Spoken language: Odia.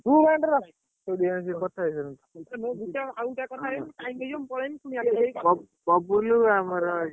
ତୁ line ରେ ରହ ତମେ ଗୋଟେ କଥା ହେଇଯିବ ଆଉଗୋଟେ କ୍କଥା ହେଇଯିବ time ହେଇଯିବ ମୁଁ ପଳେଇବି, ବାବୁଲ ଆମର।